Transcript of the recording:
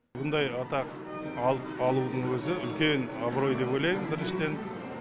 бұндай атақ алудың өзі үлкен абырой деп ойлаймын біріншіден